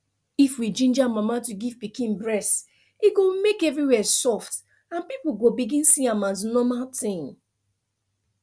if we ginger mama to give pikin breast e go make everywhere soft and people go begin see am as normal tin